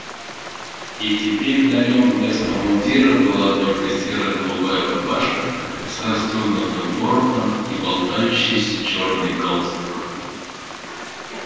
и теперь на нем вместо мундира была только серо-голубая рубашка с расстёгнутым воротом и болтающийся чёрный галстук